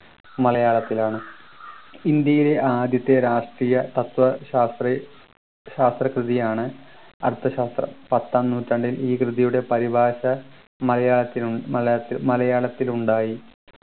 മലയാളത്തിലാണ് ഇന്ത്യയിലെ ആദ്യത്തെ രാഷ്ട്രീയ തത്വശാസ്ത്ര ശാസ്ത്ര കൃതിയാണ് അർത്ഥശാസ്ത്രം പത്താം നൂറ്റാണ്ടിൽ ഈ കൃതിയുടെ പരിഭാഷ മലയാളത്തിലും മലയാള മലയാളത്തിൽ ഉണ്ടായി